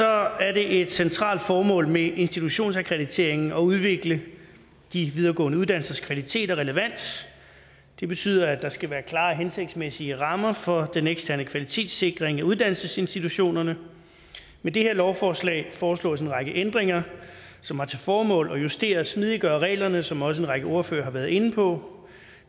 er er det et centralt formål med institutionsakkrediteringen at udvikle de videregående uddannelsers kvalitet og relevans det betyder at der skal være klare og hensigtsmæssige rammer for den eksterne kvalitetssikring af uddannelsesinstitutionerne med det her lovforslag foreslås en række ændringer som har til formål at justere og smidiggøre reglerne som også en række ordførere har været inde på